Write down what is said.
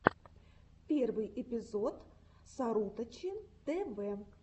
первый эпизод сарутачи тэвэ